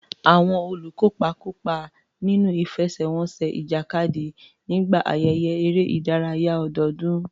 Àwọn olùkópa kópa nínú ìfẹsẹ̀wọnsẹ̀ ìjàkadì nígbà ayẹyẹ eré ìdárayá ọdọọdún.